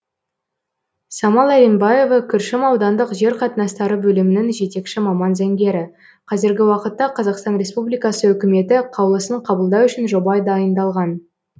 самал әлембаева күршім аудандық жер қатынастары бөлімінің жетекші маман заңгері қазіргі уақытта қазақстан республикасы үкіметі қаулысын қабылдау үшін жобай дайындалған